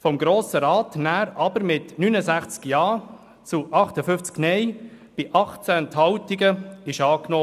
Vom Grossen Rat wurde sie danach trotzdem mit 69 Ja zu 58 Nein bei 18 Enthaltungen angenommen.